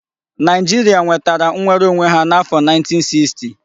Naijiria nwetara nwere onwe ha n'afo 1960